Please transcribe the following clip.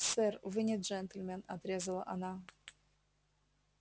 сэр вы не джентльмен отрезала она